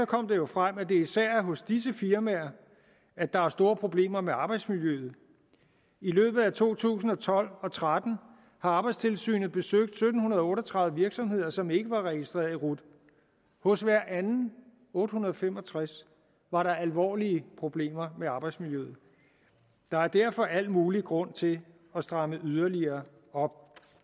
kom det jo frem at det især er hos disse firmaer at der er store problemer med arbejdsmiljøet i løbet af to tusind og tolv og tretten har arbejdstilsynet besøgt sytten otte og tredive virksomheder som ikke var registreret i rut hos hver anden otte hundrede og fem og tres var der alvorlige problemer med arbejdsmiljøet der er derfor al mulig grund til at stramme yderligere op